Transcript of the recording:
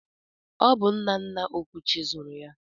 Ọ bụ nna nna Okwuchi zụrụ ya.